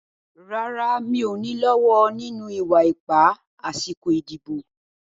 Rárá, mi ò ní lọ́wọ́ nínú ìwà ipá àsìkò ìdìbò.